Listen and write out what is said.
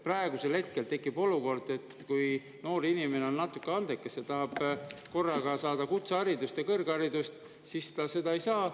Praegu tekib olukord, et kui noor inimene on andekas ja tahab korraga saada kutseharidust ja kõrgharidust, siis ta seda ei saa.